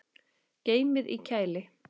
Geymið í kæli.